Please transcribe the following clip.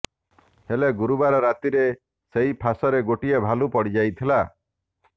ହେଲେ ଗୁରୁବାର ରାତିରେ ସେହି ଫାଶରେ ଗୋଟିଏ ଭାଲୁ ପଡ଼ିଯାଇଥିଲା